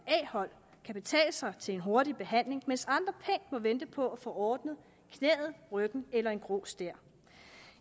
a hold kan betale sig til en hurtig behandling mens andre pænt må vente på at få ordnet knæet ryggen eller en grå stær